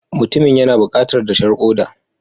Mutumin yana bukatar dashen koda.